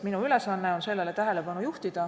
Minu ülesanne on sellele lihtsalt tähelepanu juhtida.